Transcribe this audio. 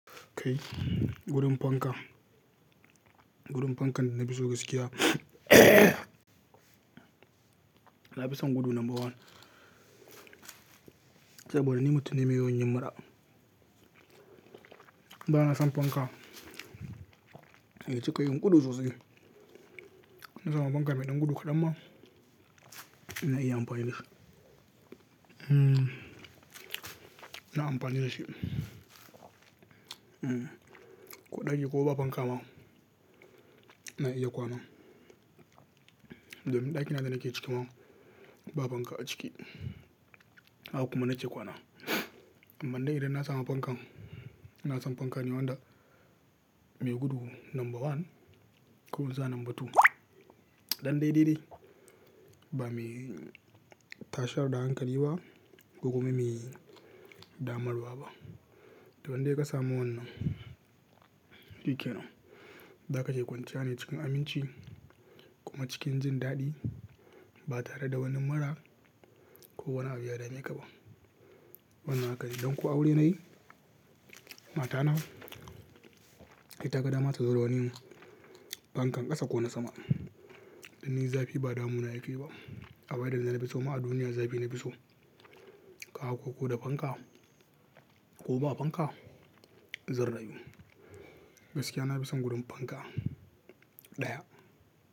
Kai gudun fanka, gudun fankan da na fiso gaskiya na fi son gudu number one saboda ni mutum ne mai yawan yin mura. Ba na son fanka, ya cika yin gudu sosai. Na samu fanka mai ɗan gudu kaɗan ma ina iya amfanida shi. Hmmm ina amfanida shi. Ehn ko ɗaki ko ba fanka ma ina iya kwana. Don ɗaki na da nake ciki ma ba fanka a ciki, haka kuma nake kwana. Amma dai idan na samu fankan, na san fankan wanda mai gudu number one ko in sa number two. Ɗan dai-dai-dai ba mai tashar da hankali ba ko kuma mai damarwa ba. To indai ka samu wannan, shike nan. Da ka iya kwanciya ne cikin aminci kuma cikin jin daɗi ba tare da wani mura ko wani abu yadame ka ba. Wannan haka ne don ko aure nayi, matana ita ga dama ta zo da wani fankan ƙasa ko na sama. Dan ni zafi ba damuna yake ba. Abin da na fiso ma a duniya zafi na fiso. Ka ko ko da fanka ko ba fanka zan rayu. Gaskiya na fi son gudun fanka ɗaya.